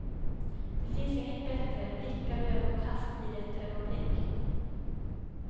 Det finns inget bättre än blickar och ögonkast i rätt ögonblick.